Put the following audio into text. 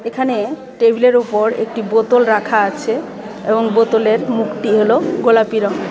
এখানে টেবিলের উপর একটি বোতল রাখা আছে এবং বোতলের মুখটি হলো গোলাপি রংয়ের.